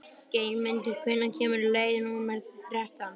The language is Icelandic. Geirmundur, hvenær kemur leið númer þrettán?